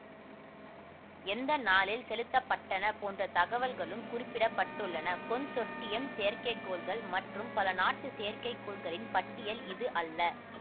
எந்த நாளில் செலுத்தப்பட்டன போன்ற தகவல்களும் குறிப்பிட பட்டுள்ளன கொன்சொர்டியம் செயற்கைக்கோள்கள் மற்றும் பல நாட்டு செயற்கைக்கோள்களின் பட்டியல் இது அல்ல